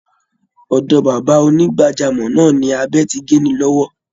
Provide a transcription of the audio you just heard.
Ọ̀dọ̀ bàbá onígbàjámọ̀ náà ni abẹ ti gé ni lọ́wọ́